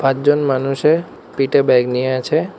পাঁচজন মানুষে পিটে ব্যাগ নিয়ে আছে।